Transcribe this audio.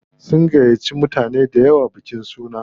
Sun gayyata mutane dayawa bikin sunan.